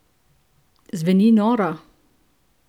Zveni noro?